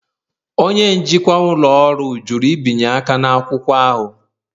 Onye njikwa ụlọ ọrụ jụrụ ibinye aka n'akwụkwọ ahụ.